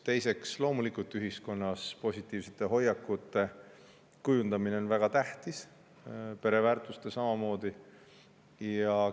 Teiseks, loomulikult on ühiskonnas positiivsete hoiakute kujundamine väga tähtis, pereväärtuste samamoodi.